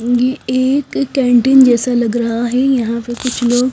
ये एक कैंटीन जैसा लग रहा है यहाँ पे कुछ लोग--